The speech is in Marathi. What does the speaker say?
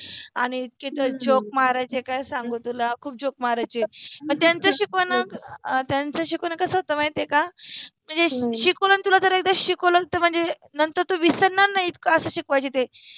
आणि इतके तर जोक मारायचे काय सांगु तुला खुप जोक मारायचे. पन त्यांच शिकवन त्यांच शिकवन कस होत माहिति आहे का, नाहि, मनजे शिकवल न जर तुला शिकवल मनजे नंतर तु विसरनार नाहि अस शिकवायचे ते